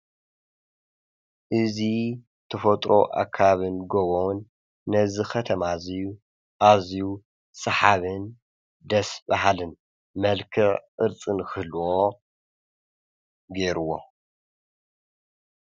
እዚተፈጥሮ ኣከባብን ጎቦን ነዚ ኸተማ እዙዩ ኣዚ ሰሓብን ደስ ባሃልን መልክዕ ቅርጽን ንኽህልዎ ገይሩዎ፡፡